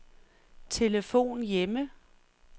telefon hjemme